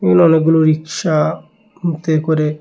এখানে অনেকগুলো রিক্সা করে--